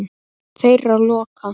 Þeirra lokað.